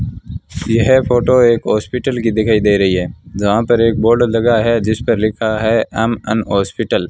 यह फोटो एक हॉस्पिटल की दिखाई दे रही है जहां पर एक बोर्ड लगा है जिस पर लिखा है एम_एन हॉस्पिटल ।